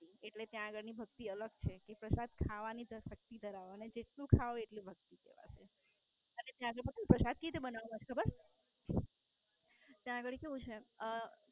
એટલે ત્યાં આગળ ની ભક્તિ અલગ છે કે પ્રસાદ ખાવાની શક્તિ ધરાવો એટલે જેટલું ખાવ એટલી ભક્તિ કહેવાશે. ત્યાંનો પ્રસાદ કઈ રીતે બનાવવાનો ખબર? ત્યાં ગાળી કેવું છે. અમ